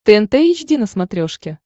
тнт эйч ди на смотрешке